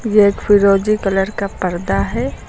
यह एक फिरोजी कलर का पर्दा है।